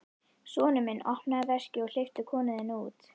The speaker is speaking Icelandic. Sonur minn, opnaðu veskið og hleyptu konunni þinni út!